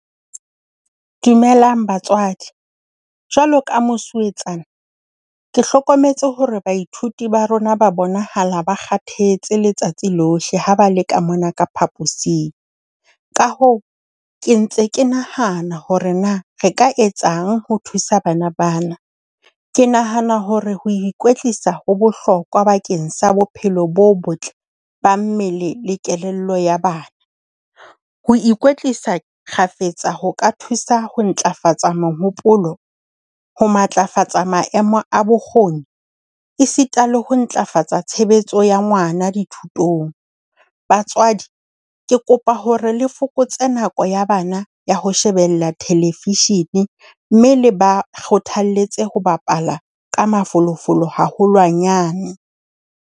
Dumelang batswadi. Jwalo ka mosuwetsana, ke hlokometse hore baithuti ba rona ba bonahala ba kgathetse letsatsi lohle ha ba le ka mona ka phaposing. Ka hoo, ke ntse ke nahana hore na re ka etsang ho thusa bana ba na. Ke nahana hore ho ikwetlisa ho bohlokwa bakeng sa bophelo bo botle ba mmele le kelello ya bana. Ho ikwetlisa kgafetsa ho ka thusa ho ntlafatsa mehopolo, ho matlafatsa maemo a bokgoni esita le ho ntlafatsa tshebetso ya ngwana dithutong. Batswadi, ke kopa hore le fokotse nako ya bana ya ho shebella television mme le ba kgothalletse ho bapala ka mafolofolo haholwanyane.